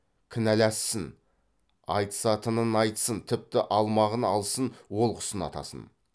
кінәлассын айтысатынын айтсын тіпті алмағын алсын олқысын атасын